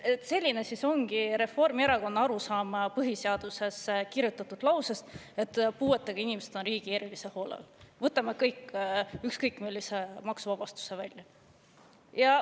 Selline siis ongi Reformierakonna arusaam põhiseadusesse kirjutatud lausest, et puuetega inimesed on riigi erilise hoole all: maksuvabastuse ära.